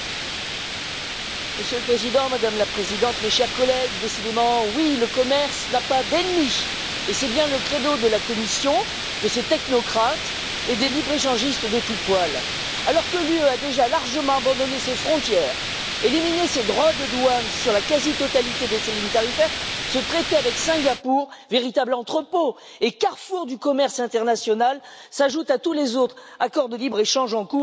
Monsieur le Président, Madame la Commissaire, mes chers collègues, décidément, le commerce n'a pas d'ennemis, et c'est bien le credo de la Commission, de ses technocrates et des libre échangistes de tout poil. Alors que l'Union européenne a déjà largement abandonné ses frontières et éliminé ses droits de douane sur la quasi totalité de ses lignes tarifaires, ce traité avec Singapour, véritable entrepôt et carrefour du commerce international, s'ajoute à tous les autres accords de libre échange en cours ou à venir.